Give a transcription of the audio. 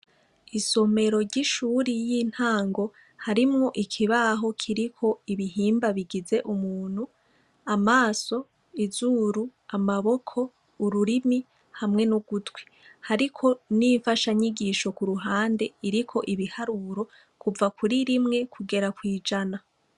Isomero ry' ishure y' intango, harimwo ikibaho Kiriko ibihimba bigeze umuntu: amaso, izuru, amaboko, ururimi hamwe n' igutwi. Hariko n' infashanyigisho ku ruhande iriko ibiharuro kuva kuri rimwe kugera kw' ijana.